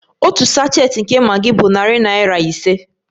Otu sachet nke Maggi bụ narị naira ise